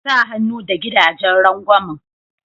Sa hannu da gidajen rangwamin.